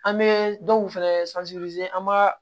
An bɛ dɔw fɛnɛ an b'a